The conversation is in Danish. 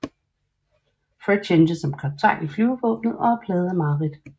Fred tjente som kaptajn i flyvevåbnet og er plaget af mareridt